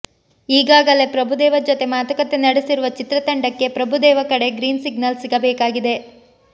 ಈಗಾಗಲೆ ಪ್ರಭುದೇವ ಜೊತೆ ಮಾತುಕತೆ ನಡೆಸಿರುವ ಚಿತ್ರತಂಡಕ್ಕೆ ಪ್ರಭುದೇವ ಕಡೆ ಗ್ರೀನ್ ಸಿಗ್ನಲ್ ಸಿಗಬೇಕಾಗಿದೆ